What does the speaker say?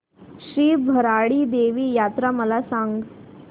श्री भराडी देवी यात्रा मला सांग